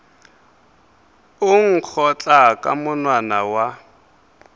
o nkgotla ka monwana wa